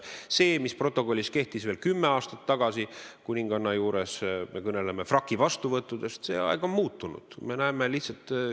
See, mis protokolli järgi kehtis veel kümme aastat tagasi, ma pean silmas frakivastuvõtte kuninganna juures, on muutunud, aeg on muutunud.